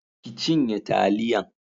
ki cinye taliyan